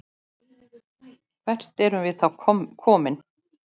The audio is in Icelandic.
Hvert erum við þá komin?